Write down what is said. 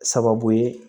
Sababu ye